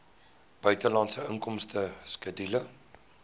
buitelandse inkomste skedule